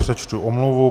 Přečtu omluvu.